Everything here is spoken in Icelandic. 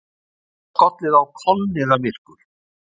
Það var skollið á kolniðamyrkur.